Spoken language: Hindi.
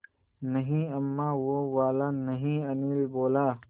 नहीं अम्मा वो वाला नहीं अनिल बोला